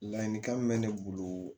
Ladilikan min mɛ ne bolo